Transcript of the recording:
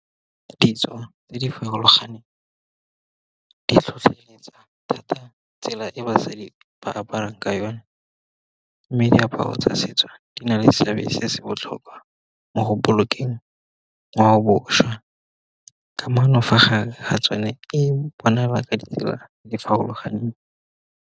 Didiriswa tse di farologaneng, di tlhotlheletsa thata tsela e basadi ba aparang ka yone. Mme diaparo tsa setso di na le seabe se se botlhokwa mo go bolokeng ngwao bošwa, kamano fa gare ga tsone e bona ba ka dira di farologaneng.